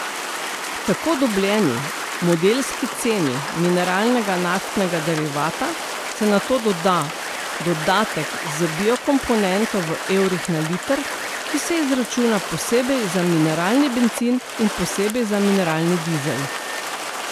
Tako dobljeni modelski ceni mineralnega naftnega derivata se nato doda dodatek za biokomponento v evrih na liter, ki se izračuna posebej za mineralni bencin in posebej za mineralni dizel.